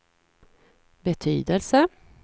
betydelse